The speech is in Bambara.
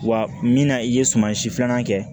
Wa min na i ye sumansi filanan kɛ